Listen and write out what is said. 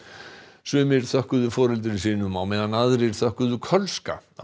sumir þökkuðu foreldrum sínum á meðan aðrir þökkuðu Kölska á